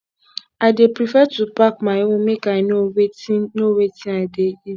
i dey prefer to pack my own make i know wetin know wetin i dey eat